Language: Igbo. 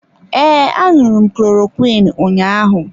Ee, aṅụru m klorokwiin ụnyaahụ.